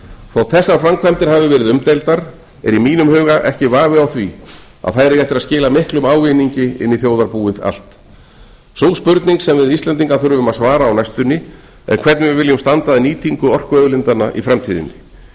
þótt þessar framkvæmdir hafi verið umdeildar er í mínum huga ekki vafi á að þær eiga eftir að skila miklum ávinningi inn í þjóðarbúið allt sú spurning sem við íslendingar þurfum að svara á næstunni er hvernig við viljum standa að nýtingu orkuauðlindanna í framtíðinni